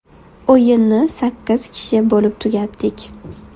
O‘yinni sakkiz kishi bo‘lib tugatdik.